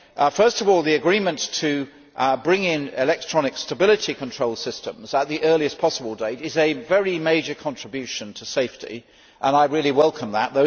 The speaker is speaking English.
Firstly, the agreement to bring in electronic stability control systems at the earliest possible date is a very major contribution to safety and I very much welcome that.